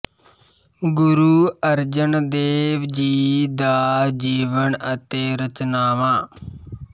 ਗੁਰੂ ਅਰਜਨ ਦੇਵ ਜੀ ਦਾ ਜੀਵਨ ਅਤੇ ਰਚਨਾਵਾਂ